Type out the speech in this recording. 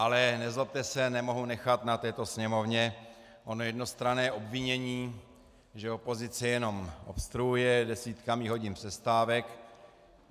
Ale nezlobte se, nemohu nechat na této sněmovně ono jednostranné obvinění, že opozice jenom obstruuje desítkami hodin přestávek.